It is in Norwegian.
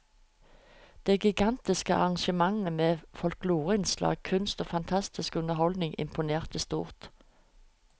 Det gigantiske arrangementet med folkloreinnslag, kunst og fantastisk underholdning imponerte stort.